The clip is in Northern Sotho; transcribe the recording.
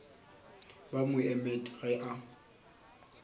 ba mo emet ge a